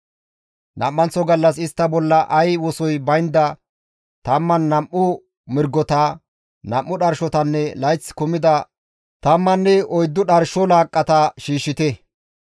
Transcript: « ‹Nam7anththo gallas istta bolla ay wosoy baynda 12 mirgota, 2 dharshotanne layththi kumida 14 dharsho laaqqata shiishshite.